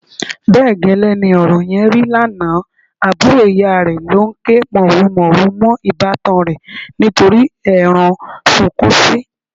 Bẹ́ẹ̀ gẹ́lẹ́ ni ọ̀rọ̀ yẹn rí lánàá, àbúrò ìyá rẹ̀ ló ń ké màhurumàhuru mọ́ ìbátan rẹ̀ nítorí ẹran sunkúnsí.